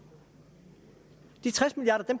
de tres milliard